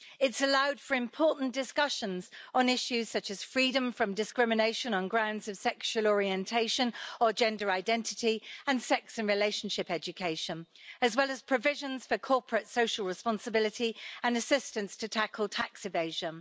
It's allowed for important discussions on issues such as freedom from discrimination on grounds of sexual orientation or gender identity, and sex and relationship education, as well as provisions for corporate social responsibility and assistance to tackle tax evasion.